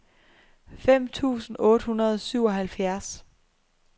fem tusind otte hundrede og syvoghalvfjerds